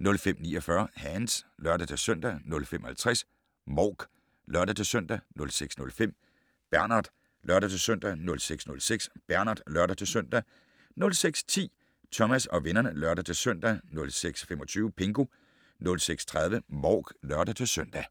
05:49: Hands (lør-søn) 05:50: Mouk (lør-søn) 06:05: Bernard (lør-søn) 06:06: Bernard (lør-søn) 06:10: Thomas og vennerne (lør-søn) 06:25: Pingu 06:30: Mouk (lør-søn)